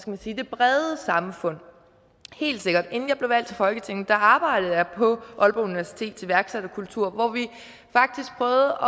man sige det brede samfund helt sikkert inden jeg blev valgt til folketinget arbejdede jeg på aalborg universitets iværksætterkultur hvor vi faktisk prøvede